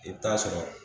I bɛ taa sɔrɔ